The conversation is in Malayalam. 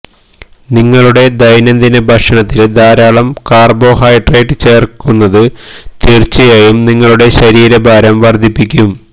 നിങ്ങളുടെ ദൈനംദിന ഭക്ഷണത്തില് ധാരാളം കാര്ബോഹൈഡ്രേറ്റ് ചേര്ക്കുന്നത് തീര്ച്ചയായും നിങ്ങളുടെ ശരീരഭാരം വര്ദ്ധിപ്പിക്കും